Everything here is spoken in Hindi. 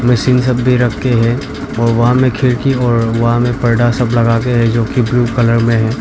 मशीन सब भी रखे हैं और वहां में खिड़की और वहां में पर्दा सब लगाके है जो की ब्लू कलर में है।